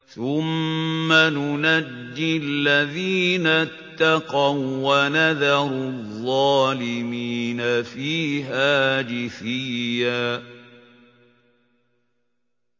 ثُمَّ نُنَجِّي الَّذِينَ اتَّقَوا وَّنَذَرُ الظَّالِمِينَ فِيهَا جِثِيًّا